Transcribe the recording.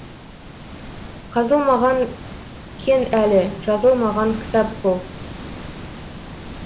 қазылмаған кен әлі жазылмаған кітап бұл